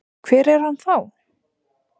Hver er hann þá?